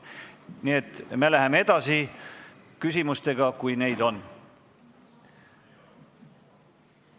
Nii et läheme küsimustega edasi, kui neid on.